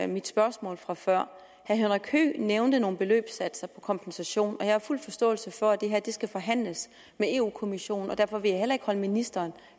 mit spørgsmål fra før herre henrik høegh nævnte nogle beløbssatser for kompensation og jeg har fuld forståelse for at det her skal forhandles med europa kommissionen og derfor vil jeg heller ikke holde ministeren